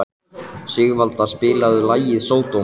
Sigvalda, spilaðu lagið „Sódóma“.